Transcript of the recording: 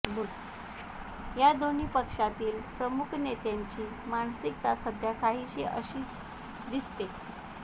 या दोन्ही पक्षातील प्रमुख नेत्यांची मानसिकता सध्या काहीसी अशीच दिसतेय